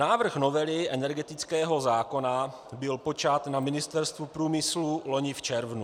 Návrh novely energetického zákona byl počat na Ministerstvu průmyslu loni v červnu.